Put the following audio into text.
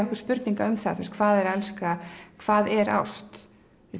okkur spurninga um það hvað er að elska hvað er ást